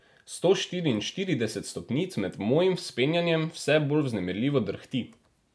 Sto štiriinštirideset stopnic med mojim vzpenjanjem vse bolj vznemirljivo drhti.